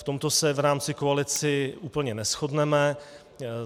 V tomto se v rámci koalice úplně neshodneme.